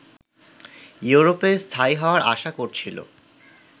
ইউরোপে স্থায়ী হওয়ার আশা করছিল